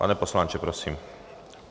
Pane poslanče, prosím.